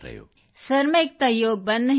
sir ਮੈਂ ਇੱਕ ਤਾਂ ਯੋਗ ਬੰਦ ਨਹੀਂ ਕੀਤਾ